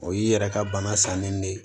O y'i yɛrɛ ka bana sanni de ye